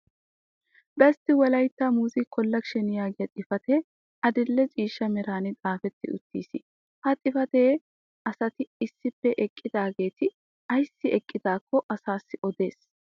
"best wolaita music collection" yaagiya xifate adil'e ciishsha meran xaafetti uttiis. ha xifatee asati issippe eqqidaageetti ayssi eqqidaakko asaassi odees.